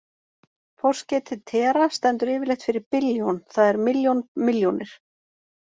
Forskeytið tera- stendur yfirleitt fyrir billjón, það er milljón milljónir.